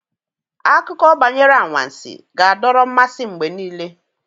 Akụkọ banyere anwansi ga-adọrọ mmasị mgbe niile.